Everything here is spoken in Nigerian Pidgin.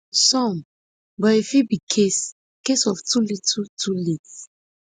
some but e fit be case case of too little too late